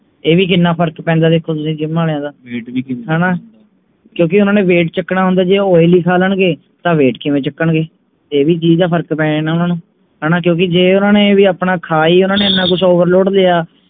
ਇਹ ਵੀ ਕਿੰਨਾ ਫਰਕ ਪੈਂਦੇ ਤੁਸੀਂ ਦੇਖੋ gym ਆਲਿਆਂ ਦਾ ਹਣਾ ਕਿਓਂਕਿ ਓਹਨਾ ਨੇ weight ਚੁੱਕਣਾ ਹੁੰਦਾ ਜੇ ਉਹ oil ਹੀ ਖਾ ਲੈਣਗੇ ਤਾ weight ਕਿਵੇਂ ਚੁੱਕਣਗੇ ਇਹ ਵੀ ਚੀਜ ਦਾ ਫਰਕ ਪੈ ਜਾਂਦੇ ਓਹਨਾ ਨੂੰ ਹਣਾ ਵੀ ਜੇ ਓਹਨਾ ਨੇ ਵੀ ਆਪਣਾ ਖਾ ਹੀ ਓਹਨਾ ਨੇ ਇੰਨਾ ਕੁਛ overload ਲਿਆ